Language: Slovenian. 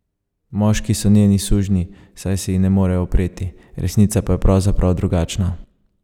Moški so njeni sužnji, saj se ji ne morejo upreti, resnica pa je pravzaprav drugačna.